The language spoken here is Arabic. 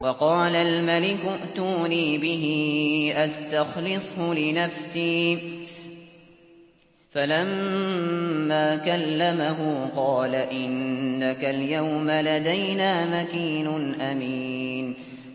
وَقَالَ الْمَلِكُ ائْتُونِي بِهِ أَسْتَخْلِصْهُ لِنَفْسِي ۖ فَلَمَّا كَلَّمَهُ قَالَ إِنَّكَ الْيَوْمَ لَدَيْنَا مَكِينٌ أَمِينٌ